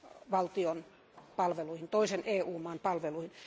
valtion palveluihin, toisen EU maan palveluihin.